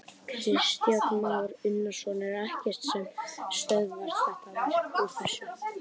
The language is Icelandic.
Kristján Már Unnarsson: Er ekkert sem stöðvar þetta verk úr þessu?